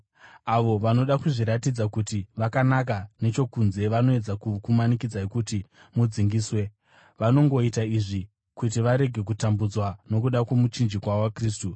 Avo vanoda kuzviratidza kuti vakanaka nechokunze vanoedza kukumanikidzai kuti mudzingiswe. Vanongoita izvi kuti varege kutambudzwa nokuda kwomuchinjikwa waKristu.